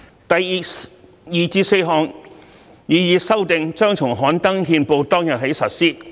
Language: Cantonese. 第二至四項擬議修訂將從刊登憲報當天起實施。